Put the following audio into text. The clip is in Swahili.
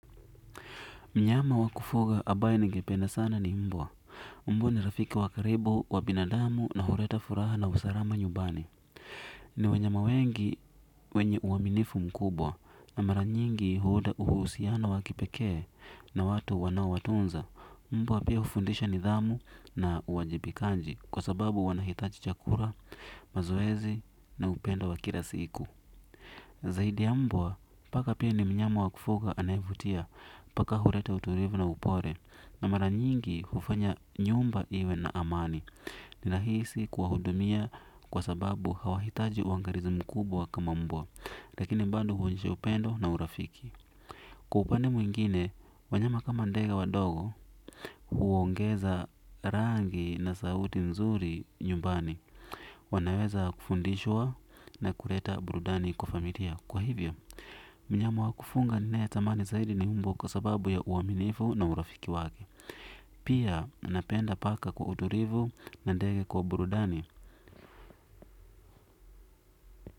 Mnyama wa kufuga ambaye ningependa sana ni mbwa. Mbwa ni rafiki wa karibu, wa binadamu na huleta furaha na usalama nyumbani. Ni wanyama wengi wenye uaminifu mkubwa na mara nyingi huota uhusiano wa kipekee na watu wanaowatunza. Mbwa pia hufundisha nidhamu na uwajibikaji kwa sababu wanahitaji chakula, mazoezi na upendo wa kila siku. Zaidi ya mbwa, paka pia ni mnyama wa kufuga anayevutia, paka huleta utulivu na upole. Na mara nyingi hufanya nyumba iwe na amani. Ninahisi kuwahudumia kwa sababu hawahitaji uangalizi mkubwa kama mbwa. Lakini bado huonyesha upendo na urafiki. Kwa upande mwingine, wanyama kama ndege wadogo, huongeza rangi na sauti mzuri nyumbani. Wanaweza kufundishwa na kuleta burudani kwa familia. Kwa hivyo, mnyama wa kufunga ninayetamani zaidi ni mbwa kwa sababu ya uaminifu na urafiki wake. Pia, napenda paka kwa utulivu na ndege kwa burudani.